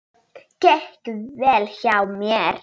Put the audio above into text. Það gekk vel hjá mér.